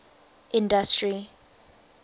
industry